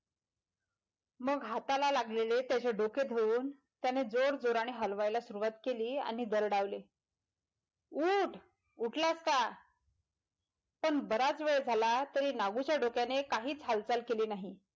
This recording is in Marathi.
मग हाताला लागलेले त्याचे डोके धरून त्याने जोरजोराने हलवायला सुरुवात केली आणि दरडावले उठ उठलास का पण बराच वेळ झाला ते नागूच्या डोक्याने काहीच हालचाल केली नाही.